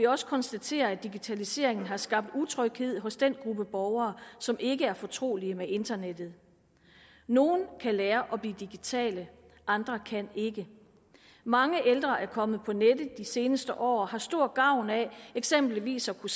også konstatere at digitaliseringen har skabt utryghed hos den gruppe borgere som ikke er fortrolig med internettet nogle kan lære at blive digitale andre kan ikke mange ældre er kommet på nettet de seneste år og har stor gavn af eksempelvis at kunne